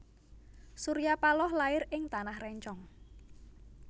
Surya Paloh lair ing Tanah Rencong